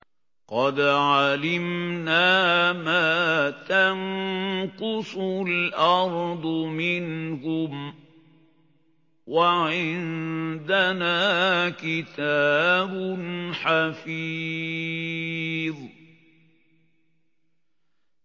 قَدْ عَلِمْنَا مَا تَنقُصُ الْأَرْضُ مِنْهُمْ ۖ وَعِندَنَا كِتَابٌ حَفِيظٌ